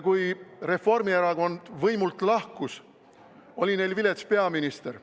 Kui Reformierakond võimult lahkus, oli neil vilets peaminister.